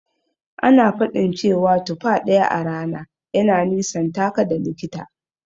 Ana faɗin cewa tufa ɗaya a rana yana nisantaka da likita.